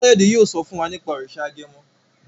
Kayode yóò so fún wá nipa òrìṣà agẹmọ.